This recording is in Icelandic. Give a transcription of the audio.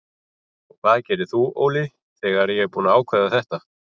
Og hvað gerir þú Óli þegar ég er búinn að ákveða þetta?